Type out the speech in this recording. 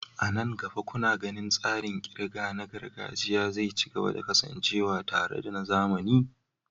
A nan gaba, kuna ganin tsarin ƙirga na gargajiya zai ci gaba da kasancewa tare da na zamani?